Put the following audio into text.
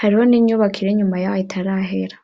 hariho n'inyubako iri inyuma yaho itarahera.